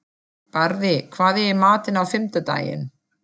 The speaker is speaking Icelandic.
Barði, hvað er í matinn á fimmtudaginn?